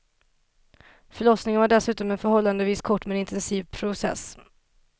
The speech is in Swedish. Förlossningen var dessutom en förhållandevis kort men intensiv process.